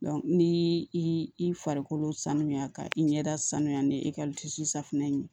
ni i farikolo sanuya ka i ɲɛda sanuya ni esisifunɛ ye